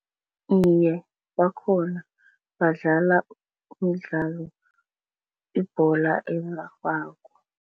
Iye, bakhona. Badlala umdlalo, ibhola erarhwako.